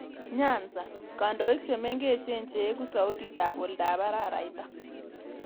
Nyanza: Kandoik chemengech cheegu sautiit ap oldoap araraita